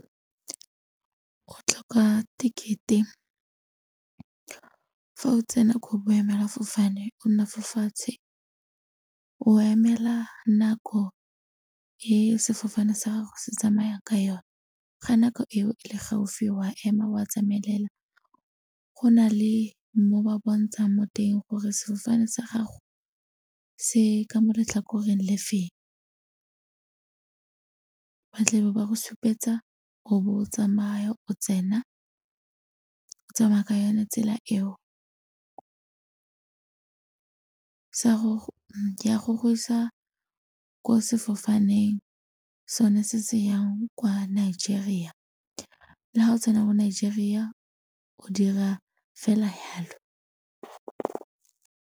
Go tlhoka ticket-e fa o tsena ko boemelafofane o nna fo fatshe, o emela nako e sefofane sa gago se tsamayang ka yone, ga nako eo e le gaufi wa ema wa tsamaela go na le mo ba bontshang mo teng gore sefofane sa gago se ka mo letlhakoreng le feng. Ba tlabe ba go supetsa o bo o tsamaya o tsena o tsamaya ka yone tsela eo ya go go isa ko sefofaneng sone se se yang kwa Nigeria, le ga o tsena ko Nigeria o dira fela yalo.